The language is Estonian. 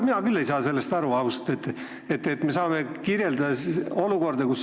Mina küll ei saa sellest aru, ausalt!